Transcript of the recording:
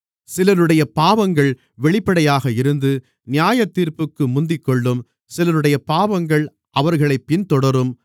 சிலருடைய பாவங்கள் வெளிப்படையாக இருந்து நியாயத்தீர்ப்புக்கு முந்திக்கொள்ளும் சிலருடைய பாவங்கள் அவர்களைப் பின்தொடரும்